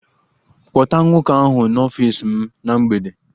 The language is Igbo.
Kpọta nwoke ahụ n'ọfịs m na mgbede!